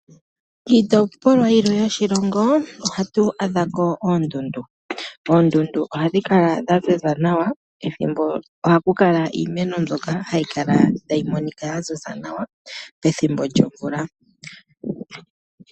Kiitopolwa yimwe yoshilongo ohatu adha ko oondundu. Oondundu ohadhi kala dhaziza nawa, ohatu adha ko iimeno mbyoka hayi kala tayi monika yaziza nawa pethimbo lyomvula.